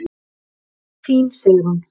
Þín Sigrún.